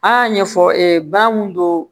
A y'a ɲɛfɔ ba mun don